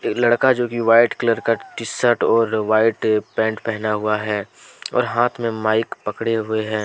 लड़का जो की व्हाइट कलर का टी शर्ट और व्हाइट पैंट पहना हुआ हैं और हाथ में माइक पकड़े हुए हैं।